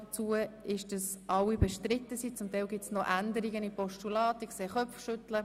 Es wird schwierig werden, noch drei Themen zu behandeln.